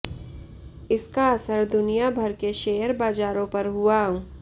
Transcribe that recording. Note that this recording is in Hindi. इसका असर दुनिया भर के शेयर बाजारों पर हुआ